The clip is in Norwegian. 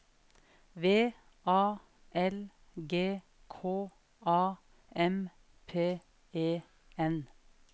V A L G K A M P E N